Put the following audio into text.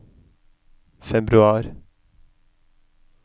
februar